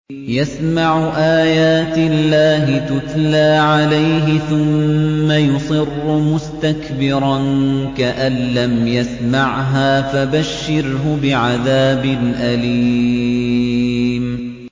يَسْمَعُ آيَاتِ اللَّهِ تُتْلَىٰ عَلَيْهِ ثُمَّ يُصِرُّ مُسْتَكْبِرًا كَأَن لَّمْ يَسْمَعْهَا ۖ فَبَشِّرْهُ بِعَذَابٍ أَلِيمٍ